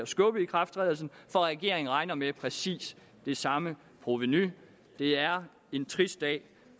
skubbe ikrafttrædelsen for regeringen regner med præcis det samme provenu det er en trist dag